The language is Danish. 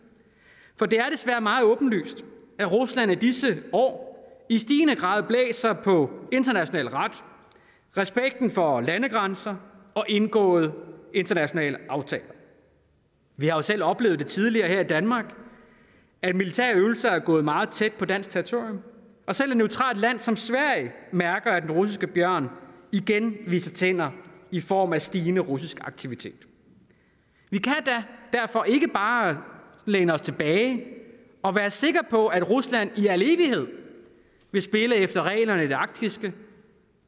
for det er desværre meget åbenlyst at rusland i disse år i stigende grad blæser på international ret respekten for landegrænser og indgåede internationale aftaler vi har jo selv oplevet tidligere her i danmark at militære øvelser er gået meget tæt på dansk territorium og selv et neutralt land som sverige mærker at den russiske bjørn igen viser tænder i form af stigende russisk aktivitet vi kan derfor ikke bare læne os tilbage og være sikre på at rusland i al evighed vil spille efter reglerne i det arktiske